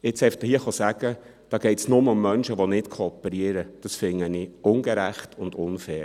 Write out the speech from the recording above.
Jetzt einfach hier zu sagen, da gehe es nur um Menschen, die nicht kooperieren, das finde ich ungerecht und unfair.